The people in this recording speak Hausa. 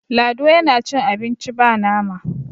lado yana cin abinci ba nama